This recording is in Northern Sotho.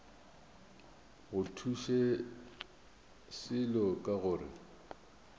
go thuše selo ka gore